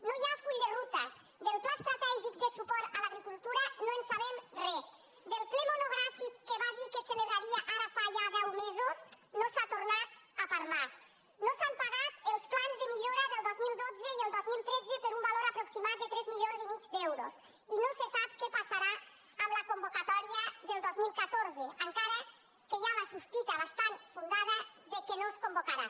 no hi ha full de ruta del pla estratègic de suport a l’agricultura no en sabem re del ple monogràfic que va dir que es celebraria ara fa ja deu mesos no se n’ha tornat a parlar no s’han pagat els plans de millora del dos mil dotze i el dos mil tretze per un valor aproximat de tres milions i mig d’euros i no se sap què passarà amb la convocatòria del dos mil catorze encara que hi ha la sospita bastant fundada que no es convocaran